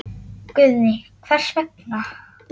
Guðný: Hvers vegna?